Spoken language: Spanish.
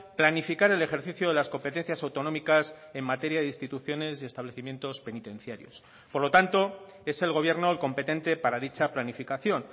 planificar el ejercicio de las competencias autonómicas en materia de instituciones y establecimientos penitenciarios por lo tanto es el gobierno el competente para dicha planificación